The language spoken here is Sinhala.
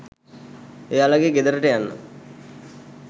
එයාලගේ ගෙදරට යන්න